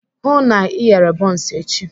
Hụụ na Ị ghere bọns echi!